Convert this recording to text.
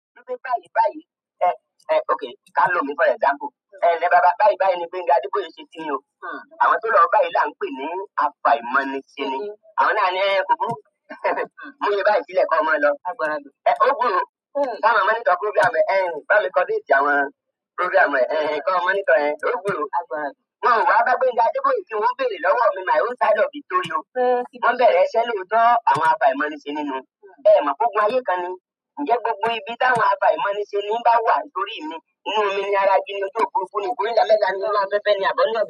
Ní báyi báyìí, e, e, ok, ká lòmi for example, enlé bába, báyìí báyìí ni Gbénga Adeboye ṣe kí yín o. Àwọn tó lọ báyìí la ń pè ní afàìmániseni. Awòn náà ní "e, kò búru, mú iyé báyìí sílè kò mọ̀ ọ́n lọ". E, ó gbúró, sa máa mọ̀nitor program ẹ, bá mi kọ date àwọn program ẹ, kò mọ̀nitor ẹ, ó gbúró. Wòn o wà bá Gbénga Adeboye kí wọ́n o béèrè lówó mi, my own side of the story o. Wòn bèrè iṣẹ́ lóòótọ́ àwọn afàìmániseni nú. E mo pé ogun ayé kan ni. Ǹjẹ́ gbogbo ibi tó àwọn afàìmániseni bá wà tórí i mi, inú omi ni, ara igí ni, ojú òfurufú ni, ikorita mẹ́ta ni, inú afẹ́fẹ́ ni àbí ọ̀nà.